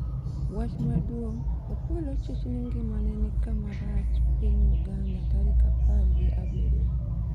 wach maduong' Opolo chich ni ngimane ni kama rach Piny Uganda tarik apar gi abiriyo